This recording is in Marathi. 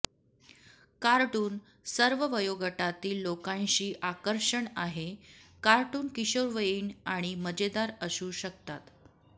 कार्टून सर्व वयोगटातील लोकांशी आकर्षण आहे कार्टून किशोरवयीन आणि मजेदार असू शकतात